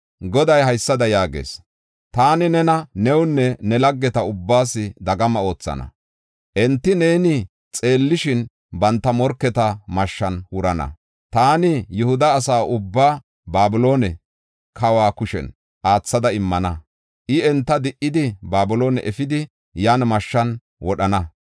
Goday haysada yaagees: ‘Taani nena, newunne ne laggeta ubbaas dagama oothana. Enti neeni xeellishin, banta morketa mashshan wurana. Taani Yihuda asa ubbaa Babiloone kawa kushen aathada immana. I enta di7idi, Babiloone efidi, yan mashshan wodhana.